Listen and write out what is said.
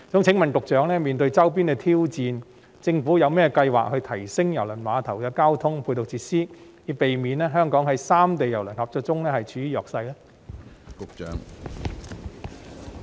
請問局長：面對周邊的挑戰，政府有甚麼計劃提升郵輪碼頭的交通配套設施，以避免香港在三地郵輪合作中處於弱勢呢？